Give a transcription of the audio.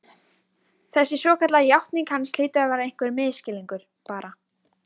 Þessi svokallaða játning hans hlýtur að vera einhver misskilningur, bara